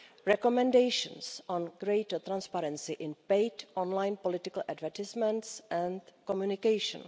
recommendations on greater transparency in paid online political advertisements and communication